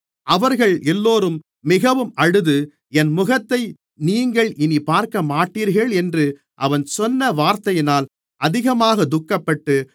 அவர்கள் எல்லோரும் மிகவும் அழுது என் முகத்தை நீங்கள் இனிப் பார்க்கமாட்டீர்கள் என்று அவன் சொன்ன வார்த்தையினால் அதிகமாகத் துக்கப்பட்டு